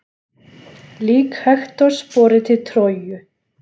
Lík Hektors borið til Tróju.